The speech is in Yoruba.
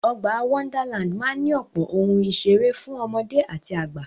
Ọgbà Wonderland máa ní ọ̀pọ̀ ohun ìseré fún ọmọdé àti àgbà.